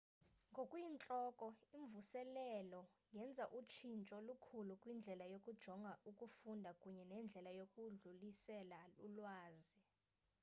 ngokuyintloko imvuselelo yenza utshintsho olukhulu kwindlela yokujonga ukufunda kunye nendlela yokudlulisela ulwazi